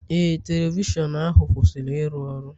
Ee, telivishọn ahu kwụsịrị ịrụ ọrụ.